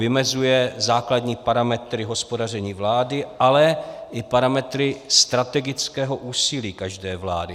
Vymezuje základní parametry hospodaření vlády, ale i parametry strategického úsilí každé vlády.